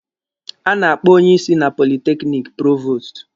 A na-akpọ onye isi na politekiniki provostu.